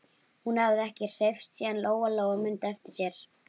Hún hafði ekki hreyfst síðan Lóa Lóa mundi eftir sér.